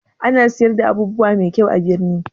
Ana siyar da abubuwa mai kyau a birni?